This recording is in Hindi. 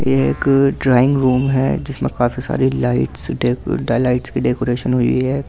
यह एक ड्राइंग रूम है जिसमें काफी सारी लाइट्स डेको दा लाइट्स की डेकोरेशन हुई है काफी।